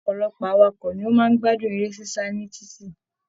Ọpọlọpọ awakọ̀ ní wọn máa n gbádùn eré sisa ni títí.